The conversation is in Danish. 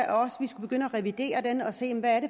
revidere den og se hvad